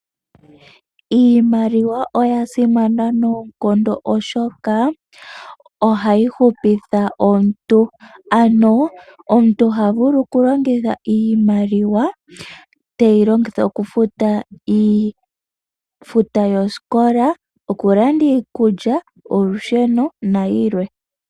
Iimaliwa oyasimana noonkondo oshoka ohayi hupitha omuntu, ano omuntu ohavulu okulongitha iimaliwa teyi longitha okufuta iifuta yosikola, okulanda iikulya, olusheno nayilwe.